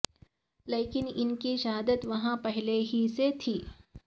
لیکن ان کی شہرت وہاں پہلے ہی سے تھی